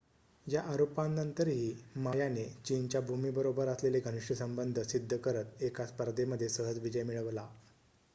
या आरोपांनंतरही मा याने चीनच्या भूमीबरोबर असलेले घनिष्ट संबंध सिद्ध करत एका स्पर्धेमध्ये सहज विजय मिळवला